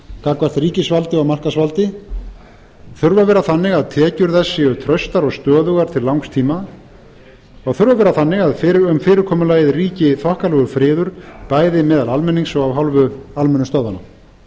gagnvart ríkisvaldi og markaðsvaldi þurfa að vera þannig að tekjur þess séu traustar og stöðugar til langs tíma þurfa að vera þannig að um fyrirkomulagið ríki þokkalegur friður bæði meðal almennings og af hálfu almennu stöðvanna að